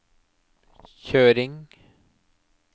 kjøring